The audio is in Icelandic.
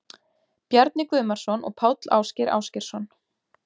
Bjarni Guðmarsson og Páll Ásgeir Ásgeirsson.